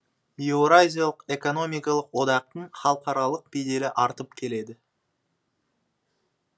еуразиялық экономикалық одақтың халықаралық беделі артып келеді